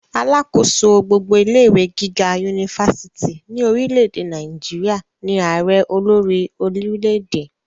alákòóso gbogbo ilé ìwé gíga unifásitì ní orile-èdè Nàìjíríà ní àrẹ olórí orilẹ-èdè